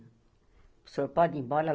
O senhor pode ir embora